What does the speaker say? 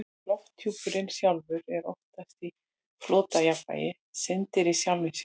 Lofthjúpurinn sjálfur er oftast í flotjafnvægi, syndir í sjálfum sér.